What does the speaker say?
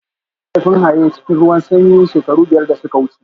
An kashe mahaifin Haye cikin ruwan sanyi shekaru biyar da suka wuce